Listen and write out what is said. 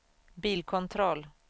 bilkontroll